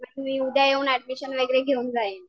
मी उद्या येऊन ऍडमिशन वगैरे घेऊन जाईन